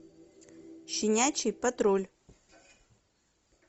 щенячий патруль